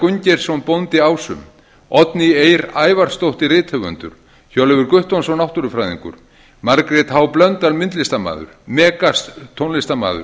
gunngeirsson bóndi ásum oddný eir ævarsdóttir rithöfundur hjörleifur guttormsson náttúrufræðingur margrét h blöndal myndlistarmaður megas tónlistarmaður